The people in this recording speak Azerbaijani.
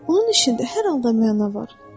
Onun işində hər halda məna var.